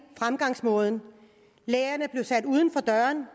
fremgangsmåden lærerne bliver sat uden for døren